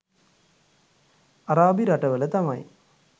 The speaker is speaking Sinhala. අරාබි රටවල තමයි